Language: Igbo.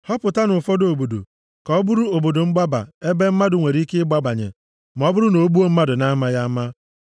họpụtanụ ụfọdụ obodo ka ọ bụrụ obodo mgbaba ebe mmadụ nwere ike ịgbabanye ma ọ bụrụ na o gbuo mmadụ na-amaghị ama.